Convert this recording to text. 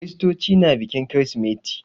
Kiristoci na bikin kirsimeti.